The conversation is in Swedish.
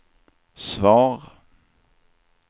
svar